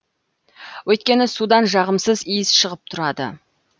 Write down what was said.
өйткені судан жағымсыз иіс шығып тұрады